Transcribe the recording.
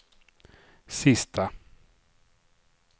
sista